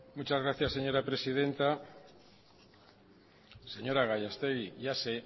muchas gracias señora presidenta señora gallastegui ya sé